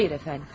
Xeyr, əfəndim.